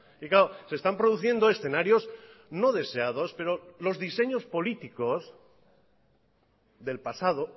y claro se están produciendo escenarios no deseados pero los diseños políticos del pasado